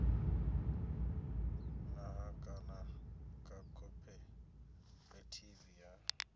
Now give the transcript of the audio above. nṱha kana kha khophorethivi ya